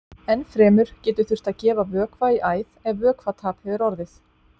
Enn fremur getur þurft að gefa vökva í æð ef vökvatap hefur orðið.